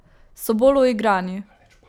So bolj uigrani.